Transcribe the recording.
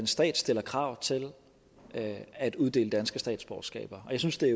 staten stiller krav til at at uddele danske statsborgerskaber og jeg synes det er